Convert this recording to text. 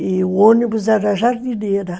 E o ônibus era jardineira.